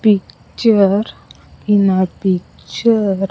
Picture in a picture.